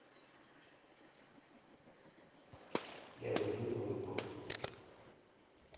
я люблю новый год